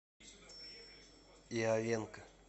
иовенко